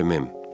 Bəli, mem.